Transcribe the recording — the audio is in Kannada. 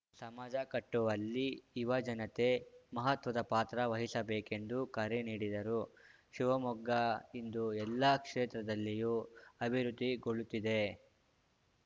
ಸಮಾಜ ಕಟ್ಟುವಲ್ಲಿ ಯುವಜನತೆ ಮಹತ್ವದ ಪಾತ್ರ ವಹಿಸಬೇಕೆಂದು ಕರೆ ನೀಡಿದರು ಶಿವಮೊಗ್ಗ ಇಂದು ಎಲ್ಲಾ ಕ್ಷೇತ್ರದಲ್ಲಿಯೂ ಅಭಿವೃದ್ಧಿಗೊಳ್ಳುತ್ತಿದೆ